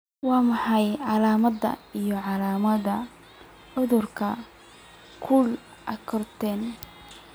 Waa maxay calaamadaha iyo calaamadaha cudurka Cold agglutinin?